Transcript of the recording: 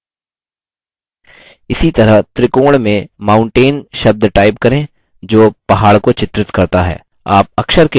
इसी तरह त्रिकोण में mountain शब्द type करें जो पहाड़ को चित्रित करता है